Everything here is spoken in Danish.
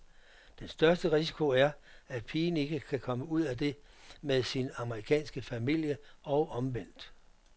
Den største risiko er, at pigen ikke kan komme ud af det med sin amerikanske familie og omvendt.